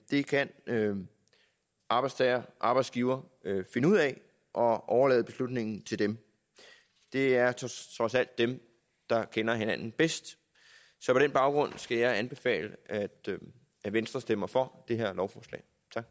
det kan arbejdstager og arbejdsgiver finde ud af og overlade beslutningen til dem det er trods alt dem der kender hinanden bedst så på den baggrund skal jeg anbefale at at venstre stemmer for det her lovforslag